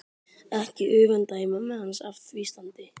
Ekki öfunda ég mömmu hans af því standi